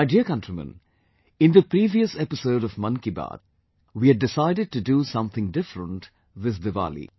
My dear countrymen, in the previous episode of Mann Ki Baat, we had decided to do something different this Diwali